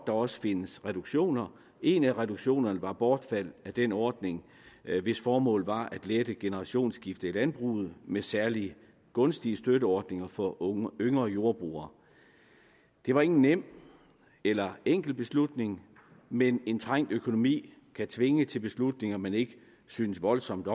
også findes reduktioner en af reduktionerne var bortfald af den ordning hvis formål var at lette generationsskiftet i landbruget med særlige gunstige støtteordninger for yngre jordbrugere det var ingen nem eller enkel beslutning men en trængt økonomi kan tvinge til beslutninger man ikke synes voldsomt